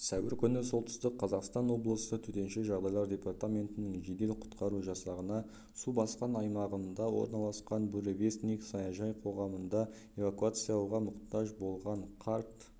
сәуір күні солтүстік қазақстан облысы төтенше жағдайлар департаментінің жедел-құтқару жасағына су басқан аймағында орналасқан буревестник саяжай қоғамында эвакуацияға мұқтаж болған қарт